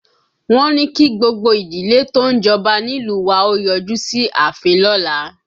Wọ́n ní kí gbogbo ìdílé tó ń jọba nílùú wa ó yọjú sí ààfin lọ́la